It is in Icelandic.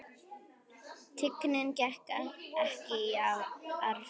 Tignin gekk ekki í arf.